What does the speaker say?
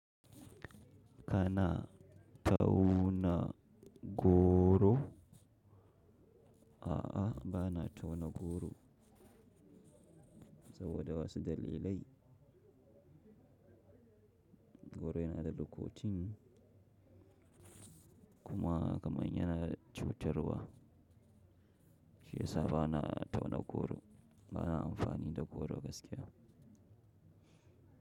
Kana tauna goro? A'a, ba na tauna goro saboda wasu dalilai. Goron yana da lokacin kuma kamar yana cutarwa shi yasa ba na tauna goro. Ba na amfani da goro gaskiya.